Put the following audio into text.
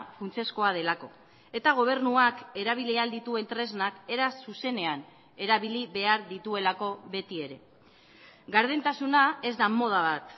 funtsezkoa delako eta gobernuak erabili ahal dituen tresnak era zuzenean erabili behar dituelako beti ere gardentasuna ez da moda bat